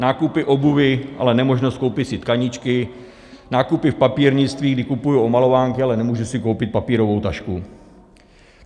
Nákupy obuvi, ale nemožnost koupit si tkaničky, nákupy v papírnictví, kdy kupuji omalovánky, ale nemůžu si koupit papírovou tašku.